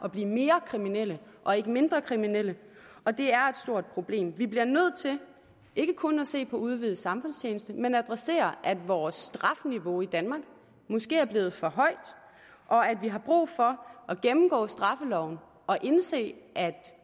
at blive mere kriminelle og ikke mindre kriminelle og det er et stort problem vi bliver nødt til ikke kun at se på at udvide samfundstjeneste men at adressere at vores strafniveau i danmark måske er blevet for højt og at vi har brug for at gennemgå straffeloven og indse at